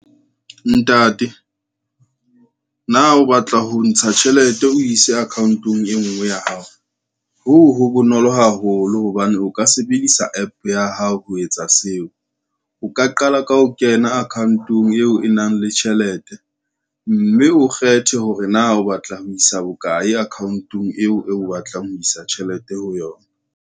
Ntate, na o batla ho ntsha tjhelete o ise account-ong e ngwe ya hao, hoo ho bonolo haholo hobane o ka sebedisa app ya hao ho etsa seo. O ka qala ka ho kena account-ong eo e nang le tjhelete, mme o kgethe hore na o batla ho isa bokae account-ong eo o batlang ho isa tjhelete ho yona.